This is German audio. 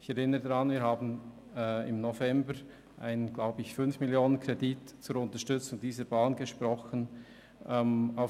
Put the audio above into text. Ich erinnere daran, dass wir im November einen Kredit von 5 Mio. Franken zur Unterstützung dieser Bahn gesprochen haben.